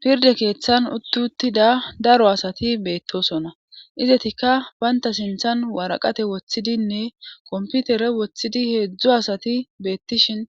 Pirde keeththan uttuttida daro asati beettosona izetikka baynta sinthan waraqate woththidinne komputere woththidi heedzdzu asati beettishin